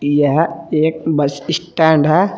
यह एक bus stand है।